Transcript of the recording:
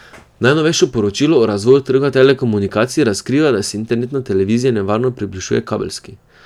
Najnovejše poročilo o razvoju trga telekomunikacij razkriva, da se internetna televizija nevarno približuje kabelski.